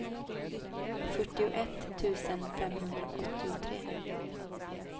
fyrtioett tusen femhundraåttiotre